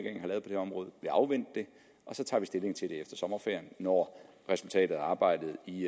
her område afvente det og så tager vi stilling til det efter sommerferien når resultatet af arbejdet i